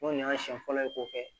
N'o y'a siɲɛ fɔlɔ ye kɔfɛ